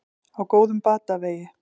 Á góðum batavegi